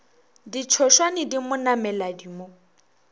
ditšhošwane di mo nameladi mo